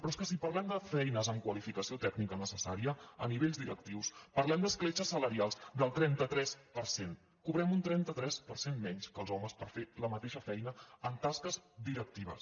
però és que si parlem de feines amb qua·lificació tècnica necessària a nivells directius par·lem d’escletxes salarials del trenta tres per cent cobrem un trenta tres per cent menys que els homes per fer la mateixa feina en tasques directives